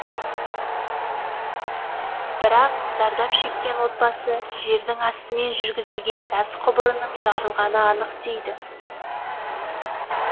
бірақ зардап шеккен отбасы жердің астымен жүргізілген газ құбырының жарылғаны анық дейді